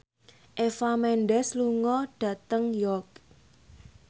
Eva Mendes lunga dhateng York